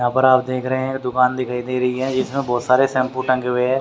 यहां पर आप देख रहे है। दुकान दिखाई दे रही है इसमें बहोत सारे शैम्पू लांगे हुए है।